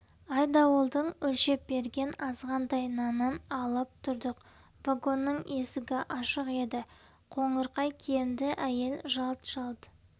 айдауылдың өлшеп берген азғантай нанын алып тұрдық вагонның есігі ашық еді қоңырқай киімді әйел жалт-жалт